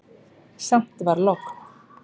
Samt var logn.